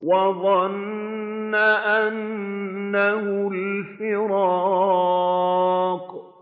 وَظَنَّ أَنَّهُ الْفِرَاقُ